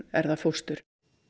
er það fóstur